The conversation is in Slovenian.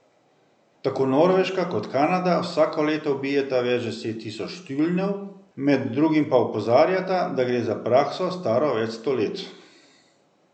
Tako Norveška kot Kanada vsako leto ubijeta več deset tisoč tjulnjev, med drugim pa opozarjata, da gre za prakso, staro več sto let.